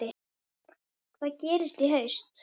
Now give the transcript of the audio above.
Hvað gerist í haust?